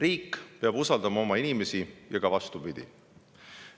Riik peab usaldama oma inimesi ja ka vastupidi.